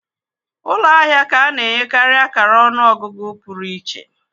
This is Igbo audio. Ụlọ ahịa ka ana enye karị akara ọnụ ọgụgụ pụrụ iche.